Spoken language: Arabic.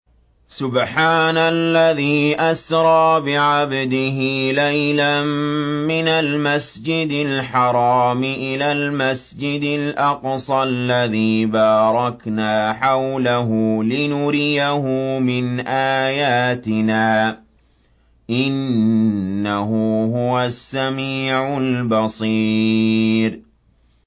سُبْحَانَ الَّذِي أَسْرَىٰ بِعَبْدِهِ لَيْلًا مِّنَ الْمَسْجِدِ الْحَرَامِ إِلَى الْمَسْجِدِ الْأَقْصَى الَّذِي بَارَكْنَا حَوْلَهُ لِنُرِيَهُ مِنْ آيَاتِنَا ۚ إِنَّهُ هُوَ السَّمِيعُ الْبَصِيرُ